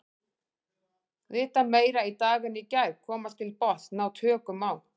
Vita meira í dag en í gær, komast til botns, ná tökum á.